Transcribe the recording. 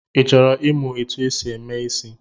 Ị chọrọ ịmụ etu e si eme ịsị?